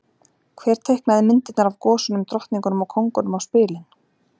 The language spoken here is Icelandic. Hver teiknaði myndirnar af gosunum, drottningunum og kóngunum á spilin?